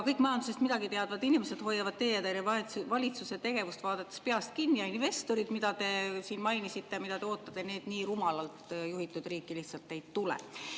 Kõik majandusest midagi teadvad inimesed hoiavad teie valitsuse tegevust vaadates peast kinni ja investorid, keda te siin mainisite, keda te ootate, nii rumalalt juhitud riiki lihtsalt ei tule.